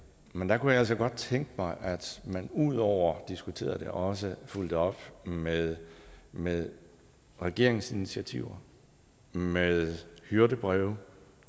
men der kunne jeg altså godt tænke mig at man ud over at diskutere det også fulgte op med med regeringsinitiativer med hyrdebreve